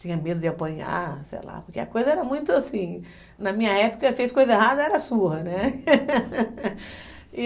Tinha medo de apanhar, sei lá, porque a coisa era muito assim, na minha época, fez coisa errada, era surra, né? e